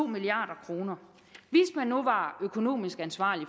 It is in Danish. milliard kroner og nu var økonomisk ansvarlig